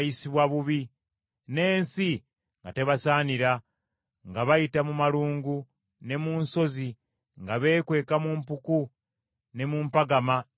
n’ensi nga tebasaanira, nga bayita mu malungu ne mu nsozi nga beekweka mu mpuku ne mu mpampagama z’enjazi.